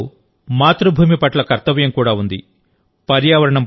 ఈ వాక్యాల్లో మాతృభూమి పట్ల కర్తవ్యం కూడా ఉంది